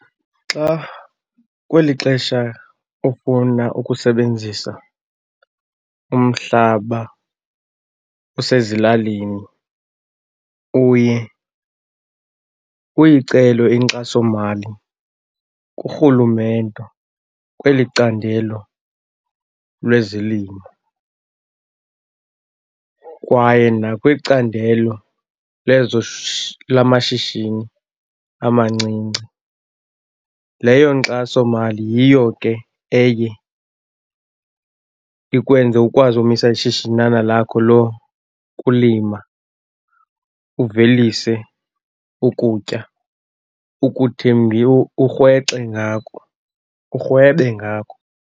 Xa kweli xesha ufuna ukusebenzisa umhlaba osezilalini uye uyicele inkxasomali kurhulumente kweli candelo lwezelimo, kwaye nakwicandelo lamashishini amancinci. Leyo nkxasomali yiyo ke eye ikwenze ukwazi umisa ishishinana lakho lokulima, uvelise ukutya urhwexe ngako, urhwebe ngako.